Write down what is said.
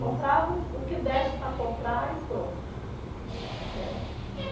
Comprava o o que desse para comprar e pronto, né.